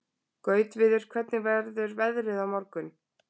Gautviður, hvernig verður veðrið á morgun?